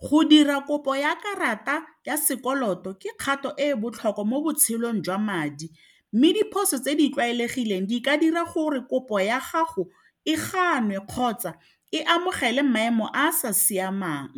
Go dira kopo ya karata ya sekoloto ke kgato e e botlhokwa mo botshelong jwa madi mme diphoso tse di tlwaelegileng di ka dira gore kopo ya gago e ganwe kgotsa e amogele maemo a a sa siamang